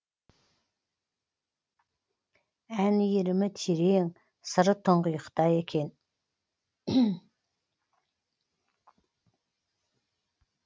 ән иірімі терең сыры тұңғиықта екен